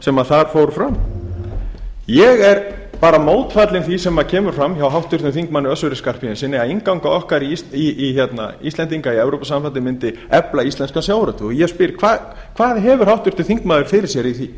sem þar fór fram ég er bara mótfallinn því sem kemur fram hjá háttvirtum þingmanni össuri skarphéðinssyni að innganga okkar íslendinga í evrópusambandið myndi efla íslenskan sjávarútveg og ég spyr hvað hefur háttvirtur þingmaður fyrir sér í því